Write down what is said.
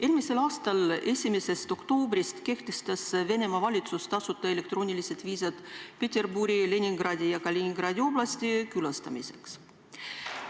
Eelmise aasta 1. oktoobrist kehtestas Venemaa valitsus tasuta elektroonilised viisad Peterburi ning Leningradi ja Kaliningradi oblasti külastamiseks.